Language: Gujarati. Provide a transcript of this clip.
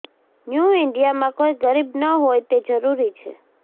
ન્યૂ ઇન્ડિયામાં કોઇ ગરીબ ન હોય તે જરૂરી છે